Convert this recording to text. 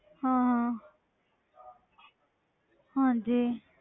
ਹਾਂ ਹਾਂ ਹਾਂਜੀ।